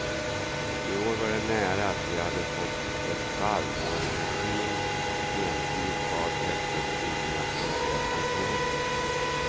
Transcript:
I år var det nära att vi hade fått ett fall då en regim entydigt gav efter för internationella sanktioner.